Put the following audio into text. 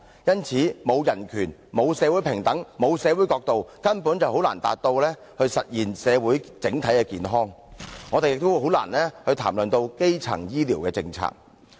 因此，沒有基本人權、沒有社會平等、沒有社會角度，根本便難以達到、實現社會整體的健康，我們也難以談論基層醫療的政策。